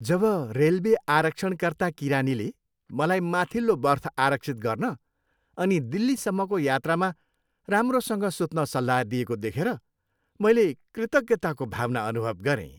जब railway आरक्षणकर्ता किरानीले मलाई माथिल्लो बर्थ आरक्षित गर्न अनि दिल्लीसम्मको यात्रामा राम्रोसँग सुत्न सल्लाह दिएको देखेर मैले कृतज्ञताको भावना अनुभव गरेँ।